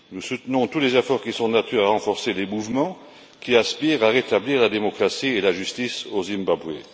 Nous soutenons tous les efforts qui sont de nature à renforcer les mouvements qui aspirent à rétablir la démocratie et la justice au Zimbabwe.